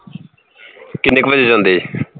ਕਿੰਨੇ ਕੁ ਵਜੇ ਜਾਂਦੇ